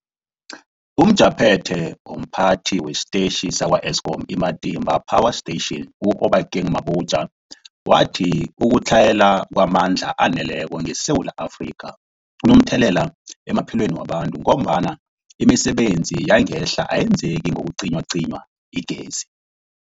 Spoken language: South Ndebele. UmJaphethe womPhathi wesiTetjhi sakwa-Eskom i-Matimba Power Station u-Obakeng Mabotja wathi ukutlhayela kwamandla aneleko ngeSewula Afrika kunomthelela emaphilweni wabantu ngombana imisebenzi yangemihla ayenzeki nakucinywacinywa igezi.